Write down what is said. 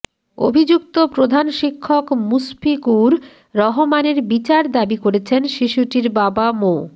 অভিযুক্ত প্রধান শিক্ষক মুশফিকুর রহমানের বিচার দাবি করেছেন শিশুটির বাবা মো